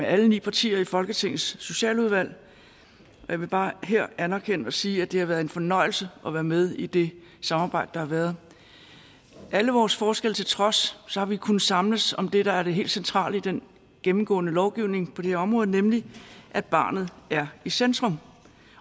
alle ni partier i folketingets socialudvalg og jeg vil bare her anerkende og sige at det har været en fornøjelse at være med i det samarbejde der har været alle vores forskelle til trods har vi kunnet samles om det der er det helt centrale i den gennemgående lovgivning på det her område nemlig at barnet er i centrum